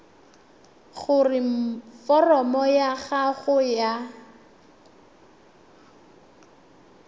gore foromo ya gago ya